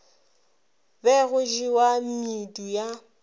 be go jewa medu ya